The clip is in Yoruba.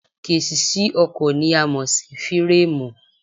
Késìsì ọkọ̀ ni a mọ̀ sí fíràmù